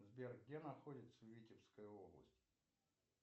сбер где находится витебская область